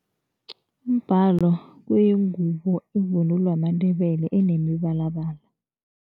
Umbhalo kuyingubo ivunulo yamaNdebele enemibalabala.